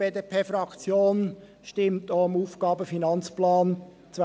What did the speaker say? Die BDP stimmt auch dem AFP 2021–2023 zu.